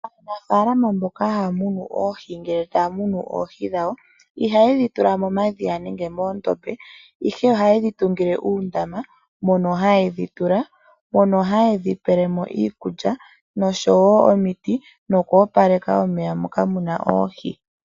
Aanafalama mboka haya munu oohi ngele taya munu oohi dhawo ihaye dhi tula momadhiya nenge moondombe, ihe ohaye dhi tungile uundama mono haye dhi tula ,mono haye dhi pelemo iikulya noshowo omiti noku opaleka omeya moka muna oohi.